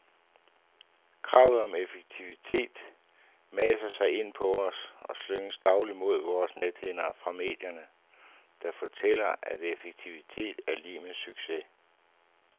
Kravet om effektivitet maser sig ind på os og slynges dagligt imod vores nethinder fra medierne, der fortæller at effektivitet er lig med succes.